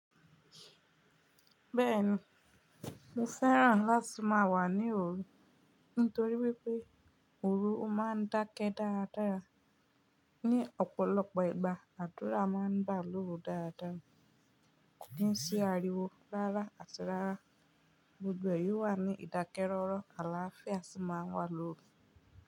Bẹ́ẹ̀ni, mo fẹ́ràn láti má wà ní òru nítorí wípé òru o ma ń dákẹ́ dáradára. Ni ọ̀pọ̀lọpọ̀ ìgbà, àdúrà ma ń gbà lóru dáadáa. Kí n sí ariwo rárà àti rárá, gbogbo yí o wà ní ìdákẹ́rọ́rọ́ àlááfíà ṣì ma ń wà lóru.